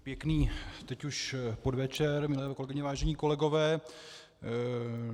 Pěkný teď už podvečer, milé kolegyně, vážení kolegové.